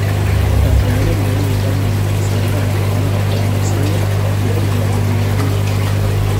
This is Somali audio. Caqabado lagu yaraynayo khasaaraha xoolaha oo la soo gudboonaaday.